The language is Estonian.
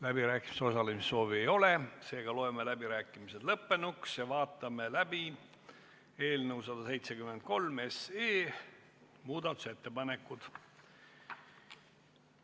Läbirääkimistel osalemise soovi ei ole, seega loeme läbirääkimised lõppenuks ja vaatame läbi eelnõu 173 kohta esitatud muudatusettepanekud.